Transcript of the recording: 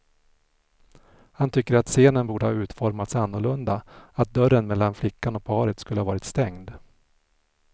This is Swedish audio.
Han tycker att scenen borde ha utformats annorlunda, att dörren mellan flickan och paret skulle ha varit stängd.